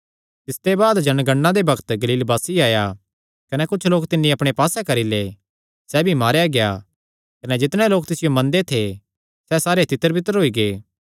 तिसते बाद जनगणना दे बग्त गलील वासी आया कने कुच्छ लोक तिन्नी अपणे पास्से करी लै सैह़ भी मारेया गेआ कने जितणे लोक तिसियो मनदे थे सैह़ सारे तितरबितर होई गै